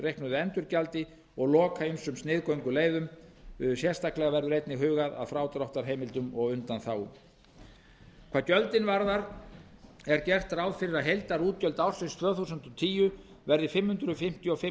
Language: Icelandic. reiknuðu endurgjaldi og loka ýmsum sniðgönguleiðum sérstaklega verður einnig hugað að frádráttarheimildum og undanþágum hvað gjöldin varðar er gert ráð fyrir að heildarútgjöld ársins tvö þúsund og tíu verði fimm hundruð fimmtíu og fimm